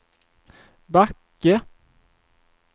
Backe